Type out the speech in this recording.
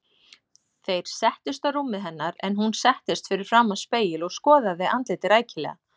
Þeir settust á rúmið hennar en hún settist fyrir framan spegil og skoðaði andlitið rækilega.